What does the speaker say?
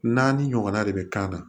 Naani ɲɔgɔnna de bɛ kan na